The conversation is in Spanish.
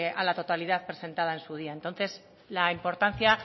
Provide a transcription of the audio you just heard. a la totalidad presentada en su día entonces la importancia